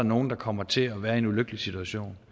nogle der kommer til at være i en ulykkelig situation